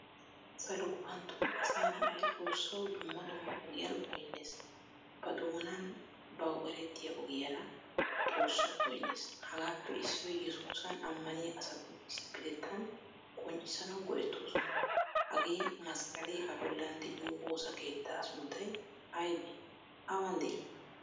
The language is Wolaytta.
Salo gufantton asaa na"aay xoossawu dumma dumma ogiyan goynees. Ba doonan bawu erettiya ogiyara xoossawu goynees. Hagaappe issoy Yesusan amaniyaa asatu issipettayn qonccissanawu goettoosona. Hagee masqqale a bollan deiyo woosa keetta sunttay aybbe? Awan dei?